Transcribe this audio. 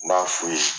N b'a f'u ye